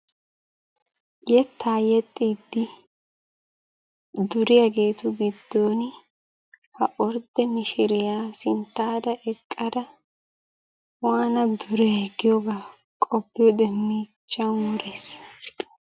yetta yeexxidi duriyaageetu giddon ha ordde mishshiriyaa sinttaara eqqada waana duray giyooga qopiyoode miichchan worees.